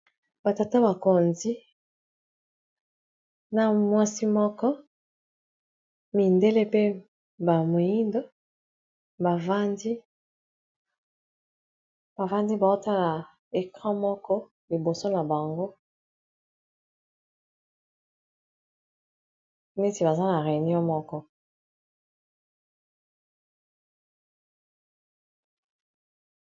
Batata bakondi na mwasi moko mindele pe bamoindo, bavandi baotala ecran moko liboso na bango neti baza na réunion moko.